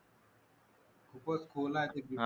खूपच खोल आहे